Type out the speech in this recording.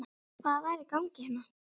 Hvað var í gangi hérna?